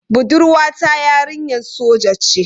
Budurwa ta yarinyar soja ce.